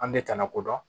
An bɛ tana kodɔn